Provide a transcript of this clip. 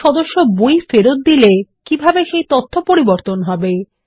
কোনো সদস্য বই ফেরত দিলে কিভাবে সেই তথ্য পরিবর্তন হবে160